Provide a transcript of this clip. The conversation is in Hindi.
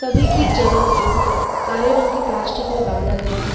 सभी की जड़ों को काले रंग के प्लास्टिक में बांधा गया है।